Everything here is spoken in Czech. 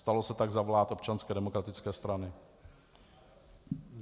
Stalo se tak za vlád Občanské demokratické strany.